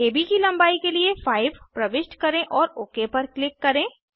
AB की लंबाई के लिए 5 प्रविष्ट करें और ओक पर क्लिक करें